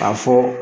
K'a fɔ